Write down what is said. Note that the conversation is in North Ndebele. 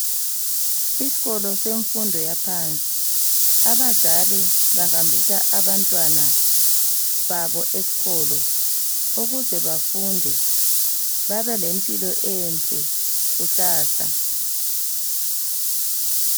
Isikolo semfundo yaphansi abazali bahambisa abantwana babo esikolo ukuze bafunde babe lempilo enhle kusasa